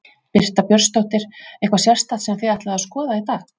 Birta Björnsdóttir: Eitthvað sérstakt sem þið ætlið að skoða í dag?